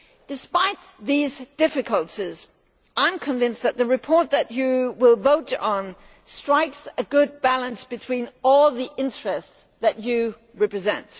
Despite these difficulties, I am convinced that the report that you will vote on strikes a good balance between all the interests that you represent.